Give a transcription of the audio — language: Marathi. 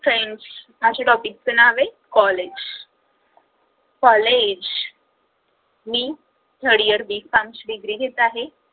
friends माझ्या topic च नाव आहे college college मी third yearB. farm ची डिग्री घेत आहे.